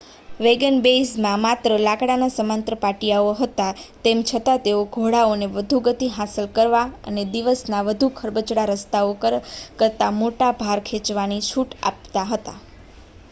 વેગનવેઇઝમાં માત્ર લાકડાના સમાંતર પાટિયાઓ હતા તેમ છતાં તેઓ ઘોડાઓને વધુ ગતિ હાંસલ કરવા અને દિવસના વધુ ખરબચડા રસ્તાઓ કરતાં મોટો ભાર ખેંચવાની છૂટ આપતા હતા